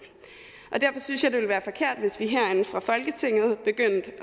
og derfor synes jeg at det ville være forkert hvis vi herinde fra folketinget begyndte